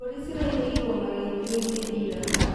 Mbũri ciraurĩirwo marĩithioinĩ ira.